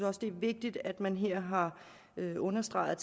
også det er vigtigt at man her har understreget